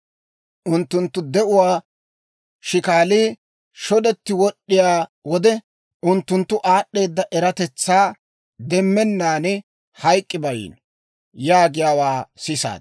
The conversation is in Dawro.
Unttunttu de'uwaa shikaalii shodetti wod'd'iyaa wode, unttunttu aad'd'eeda eratetsaa demmennaan hayk'k'i bayiino› yaagiyaawaa sisaad.